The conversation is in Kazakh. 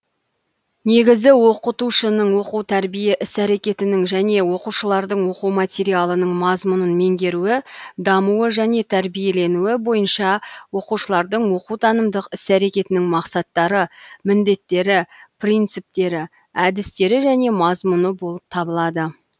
негізі оқытушының оқу тәрбие іс әрекетінің және оқушылардың оқу материалының мазмұнын меңгеруі дамуы және тәрбиеленуі бойынша оқушылардың оқу танымдық іс әрекетінің мақсаттары міндеттері принциптері әдістері және мазмұны болып табылады